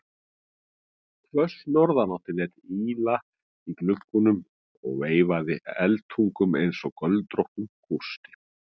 Hvöss norðanáttin lét ýla í gluggum og veifaði eldtungunum einsog göldróttum kústi.